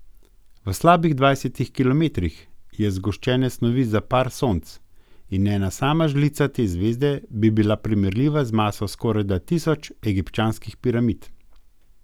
V slabih dvajset kilometrih je zgoščene snovi za par Sonc in ena sama žlica te zvezde bi bila primerljiva z maso skorajda tisoč egipčanskih piramid.